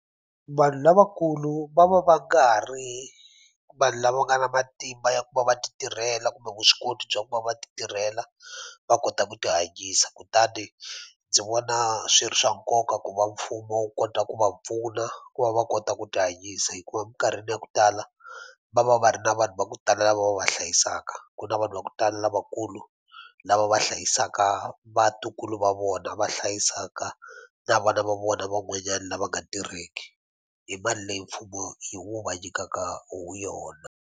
Vanhu lavakulu va va va nga ha ri vanhu lava va nga na matimba ya ku va va ti tirhela kumbe vuswikoti bya ku va va ti tirhela va kota ku ti hanyisa kutani ndzi vona swi ri swa nkoka ku va mfumo wu kota ku va pfuna ku va va kota ku tihanyisa hikuva mikarhini ya ku tala va va va ri na vanhu va ku tala lava va va hlayisaka ku na vanhu vakutala lavakulu lava va hlayisaka vatukulu va vona va hlayisaka na vana va vona van'wanyani lava nga tirheki hi mali leyi mfumo hi wu va nyikaka yona.